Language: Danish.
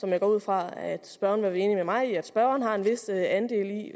jeg går ud fra at spørgeren er enig med mig i at spørgeren har en vis andel i